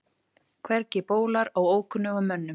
Hvergi bólar á ókunnugum mönnum.